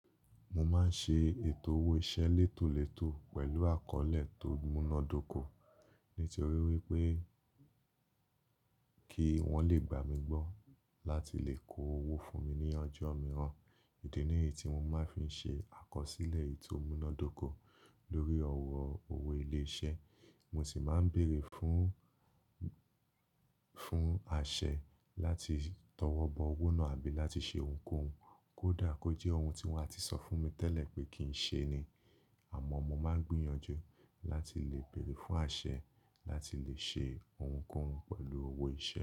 Mo máa ń ṣe ètò owó iṣẹ́ létòletò pẹ̀lú àkọlé tó múná dóko nítorí wípé kí wón le gbà mí gbọ́ láti lè kó owó fún mi ní ọjọ́ mìíràn. Idi ní yií tí mo máa ń fi ṣe àkọsílẹ̀ eyi tò múná dóko lórí ọ̀rọ̀ owó ilé iṣẹ́. Mo sì máa ń bèèrè fún, fún àṣẹ láti tọwọ́ bọ owó náà àbí láti ṣe ohunkóhun kó dà kó jẹ́ ohun tí wọ́n á ti sọ fún mi tẹ́lẹ̀ pé kì í ṣe ni. Àmọ́ mo máa ń gbìyànjú láti lè bèèrè fún àṣẹ láti lè ṣe ohunkóhun pẹ̀lú owó iṣẹ́.